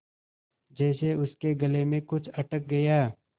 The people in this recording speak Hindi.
जैसे उसके गले में कुछ अटक गया